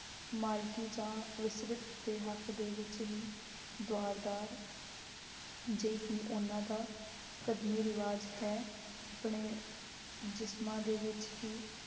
ਮਾਲਕੀ ਜਾਂ ਵਿਸਰਿਤ ਦੇ ਹੱਕ ਦੇ ਵਿੱਚ ਹੀ ਦੁਆਰਦਾਰ ਜੇ ਕਿ ਉਹਨਾਂ ਦਾ ਕਦੀਮੀ ਰਿਵਾਜ ਹੈ, ਆਪਣੇ ਜਿਸਮਾਂ ਦੇ ਵਿੱਚ ਹੀ